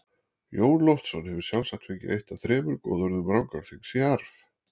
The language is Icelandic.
Jón Loftsson hefur sjálfsagt fengið eitt af þremur goðorðum Rangárþings í arf.